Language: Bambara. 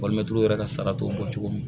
yɛrɛ ka sara t'o bɔ cogo min na